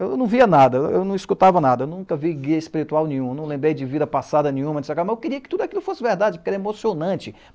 Eu não via nada, eu não escutava nada, eu nunca vi guia espiritual nenhum, não lembrei de vida passada nenhuma, mas eu queria que tudo aquilo fosse verdade, que era emocionante.